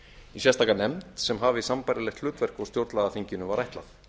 í sérstaka nefnd sem hafi sambærilegt hlutverk og stjórnlagaþinginu var ætlað